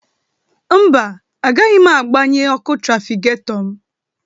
Mba, agaghị agbanye ọku trafiketọ m.